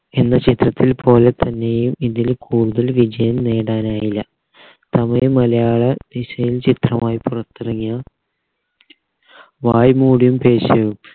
എന്ന ചിത്രത്തിൽ പോലെ തന്നെയും ഇതില് കൂടുതൽ വിജയം നേടാനായില്ല തമിഴ് മലയാള ദിശയിൽ ചിത്രമായി പുറത്തിറങ്ങിയ വായ് മൂടിയും പേസ്യവും